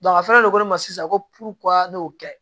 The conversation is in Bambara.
a fɛnɛ de ko ko ne ma sisan ko ko ne y'o kɛ